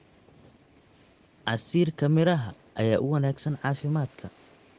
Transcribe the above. Casiirka miraha ayaa u wanaagsan caafimaadka.